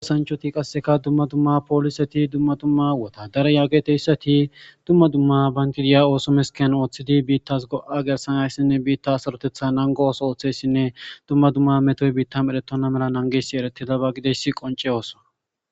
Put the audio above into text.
gasanchoti qasseka dumma dumma pooliseti dumma dumma wotaadara yaageteyssati dumma dumma bantti diya ooso meskiyan ooththidi biittas go7a gersanayssinne biitta sarotetha nango ooso ooththeyssinne dumma dumma metoy biitta merettonna mela nangesi eretidaba gideyssi qonce ooso